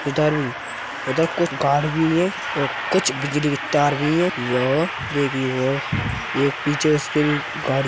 इधर कुछ कार भी है और कुछ बिजली के तार भी हैं यो देगी वो एक पीछे उसके भी गाड़ी --